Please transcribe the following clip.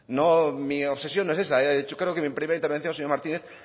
mi obsesión no es esa creo que mi primera intervención señor martínez